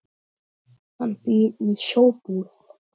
Hann býr í Sjóbúð.